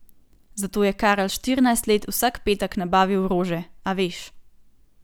Zato je Karl štirinajst let vsak petek nabavil rože, a veš.